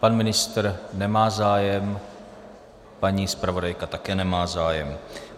Pan ministr nemá zájem, paní zpravodajka také nemá zájem.